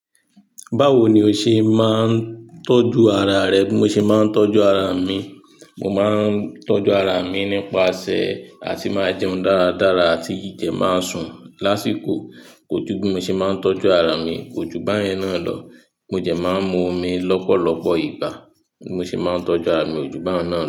Báwo ni o ṣe máa ń tọ́jú ara rẹ? Bí mo ṣe máa ń tọ́jú ara mi, mo máa ń tọ́jú ara mi nípasẹ̀ àti máa jẹun dáradára àti kin de máa sùn lásìkò. Kò jú bí mo ṣe máa ń tọ́jú ara mi, kò ju báyẹn náà lọ. Mo dẹ̀ máa ń mú omi lọ́pọ̀lọpọ̀ ìgbà. Bí mo ṣe máa ń tọ́jú ara mi, ò ju báun náà lọ.